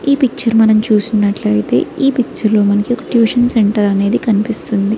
ఈ పిక్చర్ మనం చూసినట్లయితే ఈ పిక్చర్ లో మనకి ఒక ట్యూషన్ సెంటర్ అనేది కనిపిస్తుంది.